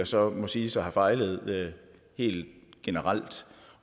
så må siges at have fejlet helt generelt